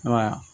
Ayiwa